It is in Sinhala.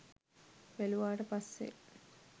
බැලුවාට පස්සේ